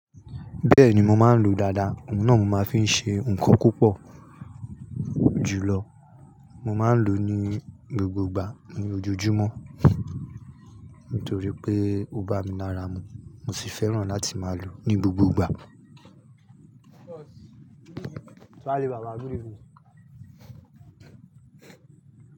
Bẹ́ẹ̀ni mò máa ń lo dàda, òun náà mo máa ń fi ṣe nǹkan púpọ̀ jùlọ. Mò máa ń lò ó ní gbogbo ìgbà ní ojojúmọ́ nítorí pé ó bá mi lára mu, mo sì fẹ́ràn láti máa lò ó ní gbogbo ìgbà. Túálé bàbá, good evening.